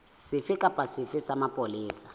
sefe kapa sefe sa mapolesa